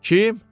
Kim?